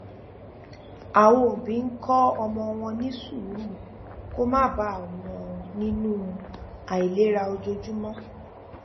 àwọn òbí ń kó ọmọ wọn ní sùúrù kó má bà wọn nínú àìlera ojoojúmọ